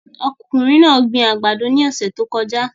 Ọkùnrin náà gbin àgbàdo ní ọ̀sẹ̀ tó kọjá